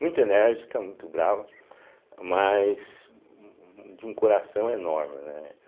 Muito enérgica, muito brava, mas hum de um coração enorme, né.